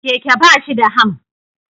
Keke ba shi da ham